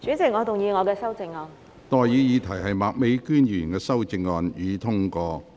我現在向各位提出的待議議題是：麥美娟議員動議的修正案，予以通過。